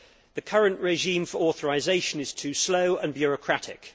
The current regime for authorisation is too slow and bureaucratic.